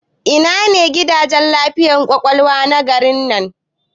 Ina ne gidan lafiyar ƙwaƙwalwa na garin nan?